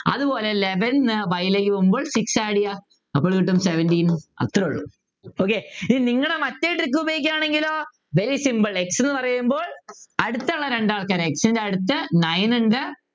അതുപോലെ eleven ന്നു y ലേക്ക് പോകുമ്പോ six add ചെയ്യുക അപ്പോൾ കിട്ടും seventeen അത്രേ ഉള്ളു okay ഇനി നിങ്ങടെ മറ്റേ trick ഉപയോഗിക്കുവാണെങ്കിലോ very simple x എന്ന് പറയുമ്പോൾ അടുത്ത രണ്ടു ആൾക്കാർ x ൻ്റെ അടുത്ത് nine ഉണ്ട്